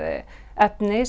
efni